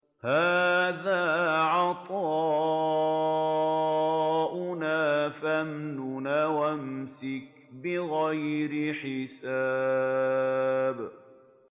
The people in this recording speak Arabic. هَٰذَا عَطَاؤُنَا فَامْنُنْ أَوْ أَمْسِكْ بِغَيْرِ حِسَابٍ